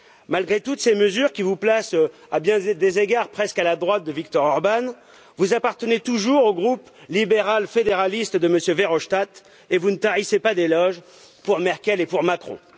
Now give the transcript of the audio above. Malgré toutes ces mesures qui vous placent, à bien des égards, presqu'à la droite de Viktor Orbán, vous appartenez toujours au groupe libéral fédéraliste de M. Verhofstadt et vous ne tarissez pas d'éloges pour Mme Merkel et pour M. Macron.